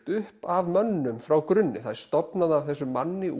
upp af mönnum frá grunni það er stofnað af þessum manni